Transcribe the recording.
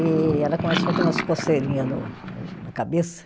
E ela começou a ter umas coceirinha no na cabeça.